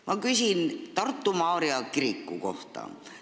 Ma küsin Tartu Maarja kiriku kohta.